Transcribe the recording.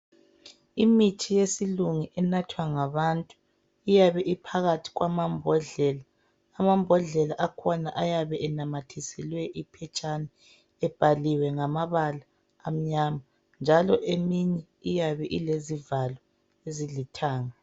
Imithi yesilungu enathwa ngabantu iyabe iphakathi kwamambodlela. Amambodlela akhona ayabe enamathiselwe iphetshana ebhaliwe ngamabala amnyama njalo eminye iyabe ilezivalo ezilithanga